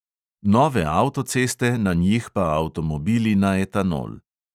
Nove avtoceste, na njih pa avtomobili na etanol.